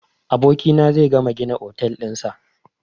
Gobe abokina zai gama gina otel ɗin sa